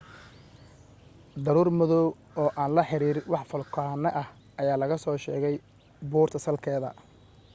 daruur madoow oo aan la xiriir wax foolkaane ah ayaa laga soo sheegay buurta salkeeda